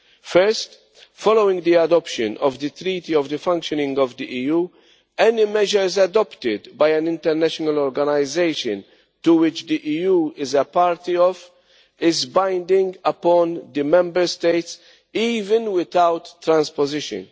First, following the adoption of the Treaty of the Functioning of the EU, any measures adopted by an international organisation to which the EU is party is binding on the Member States even without transposition.